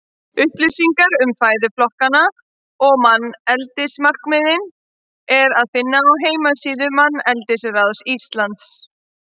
Upplýsingar um fæðuflokkana og manneldismarkmiðin er að finna á heimasíðu Manneldisráðs Íslands.